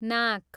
नाक